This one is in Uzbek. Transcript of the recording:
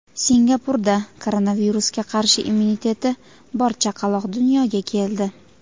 Singapurda koronavirusga qarshi immuniteti bor chaqaloq dunyoga keldi.